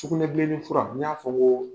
Sugunɛbilenni fura n y'a fɔ ŋoo